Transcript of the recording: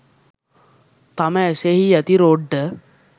තම ඇසෙහි ඇති රොඩ්ඩ